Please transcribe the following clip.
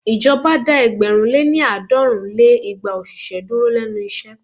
Ìjọba dá ẹgbẹ̀rún lé ní- àádọ́rùn lé igba òṣìṣẹ́ dúró lénu iṣẹ́.